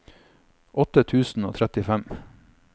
åtte tusen og trettifem